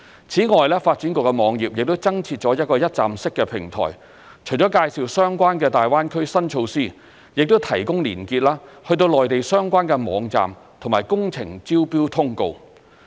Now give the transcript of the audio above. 此外，發展局網頁亦增設了一個一站式平台，除了介紹相關的大灣區新措施，亦提供連結至內地相關網站和工程招標通告。